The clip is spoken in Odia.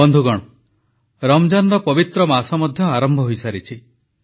ବନ୍ଧୁଗଣ ରମଜାନର ପବିତ୍ର ମାସ ମଧ୍ୟ ଆରମ୍ଭ ହୋଇସାରିଛି